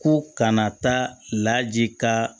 Ko kana taa laji ka